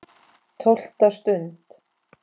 TÓLFTA STUND